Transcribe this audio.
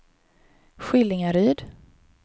Skillingaryd